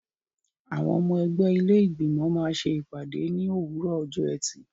Àwọn ọmọ ẹgbẹ́ ilé Ìgbìmọ̀ máa ṣe ìpàdé ní òwúrọ̀ ọjọ́ ẹtì.